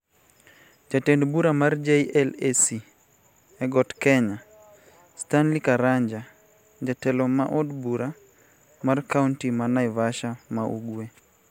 Jatend bura mar JLAC e got kenya, Stanley Karanja (jatelo ma od bura mar kaonti ma Naivasha ma Ugwe)